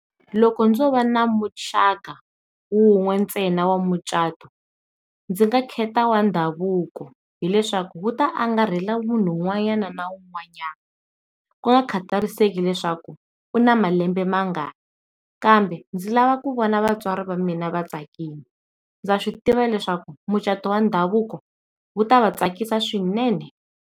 Loko ndzo va ni muxaka wun'we ntsena wa mucato ndzi nga khetha wa ndhavuko hileswaku wu ta angarhela munhu un'wanyana na un'wanyama ku nga khatariseki leswaku u na malembe mangani, kambe ndzi lava ku vona vatswari va mina va tsakile ndza swi tiva leswaku mucato wa ndhavuko wu ta va tsakisa swinene.